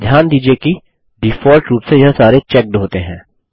ध्यान दीजिये कि डीफॉल्ट रूप से यह सारे चेक्ड होते हैं